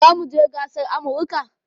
Zamuje ƙasar amurka